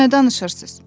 Nə danışırsız?